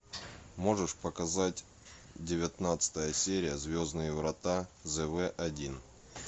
можешь показать девятнадцатая серия звездные врата зв один